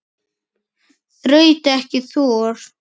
Þraut ekki þor.